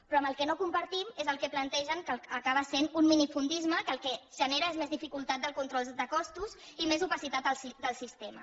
però el que no compartim és el que plantegen que acaba sent un minifundisme que el que genera és més dificultat del control de costos i més opacitat del sistema